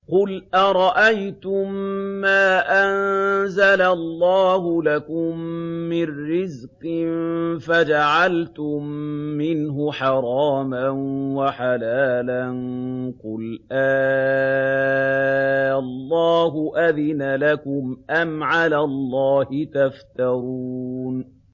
قُلْ أَرَأَيْتُم مَّا أَنزَلَ اللَّهُ لَكُم مِّن رِّزْقٍ فَجَعَلْتُم مِّنْهُ حَرَامًا وَحَلَالًا قُلْ آللَّهُ أَذِنَ لَكُمْ ۖ أَمْ عَلَى اللَّهِ تَفْتَرُونَ